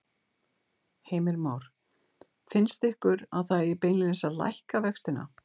Heimir Már: Finnst ykkur að það eigi beinlínis að lækka vextina?